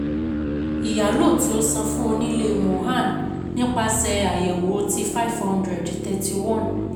Ìyálò tí ó san fún onílé 'Mohan' nipasẹ àyẹ̀wò tí cs] five hundred thirty-one